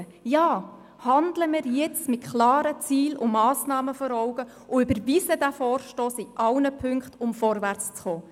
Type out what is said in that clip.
Ja! Handeln wir jetzt, mit klaren Zielen und Massnahmen vor Augen, und überweisen wir den Vorschlag in allen Punkten, um vorwärts zu kommen.